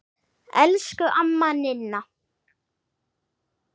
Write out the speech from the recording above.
Elsku amma Ninna.